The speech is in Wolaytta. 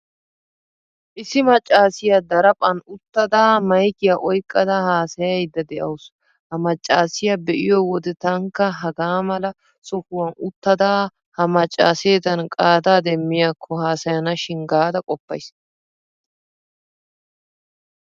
Issi maccaasiyaa daraphphan uttada maykiyaa oyqqada haasayayidda de'awusu. Ha maccaasiyaa be'iyo wode taanikka hagaaala sohuwan uttada ha maccaaseedan qaadaa demmiyakko haasayanashin gaada qoppayiis.